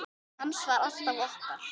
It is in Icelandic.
Hans var alltaf okkar.